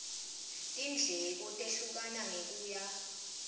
tindleko tehlukana ngekuya